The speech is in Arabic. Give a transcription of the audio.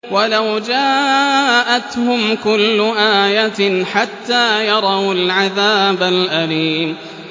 وَلَوْ جَاءَتْهُمْ كُلُّ آيَةٍ حَتَّىٰ يَرَوُا الْعَذَابَ الْأَلِيمَ